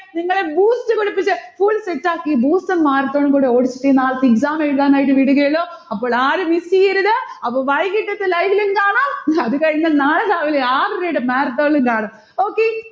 നിങ്ങളെ boost പഠിപ്പിച്ച് full set ആക്കി, booster marathon ഉം കൂടെ ഓടിച്ചിട്ടേ നാളത്തെ exam എഴുതാനായിട്ട് വിടുകയുള്ളു. അപ്പോൾ ആരും miss ചെയ്യരുത്. അപ്പൊ വൈകിട്ടത്തെ live ലും കാണാം അത് കഴിഞ്ഞാൽ നാളെ രാവിലെ ആറരയുടെ marathon ഇലും കാണാം. okay